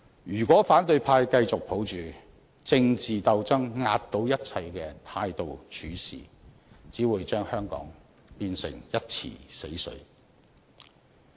如果反對派繼續抱着政治鬥爭壓倒一切的態度處事，只會把香港變成一池死水。